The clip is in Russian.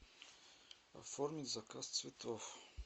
оформить заказ цветов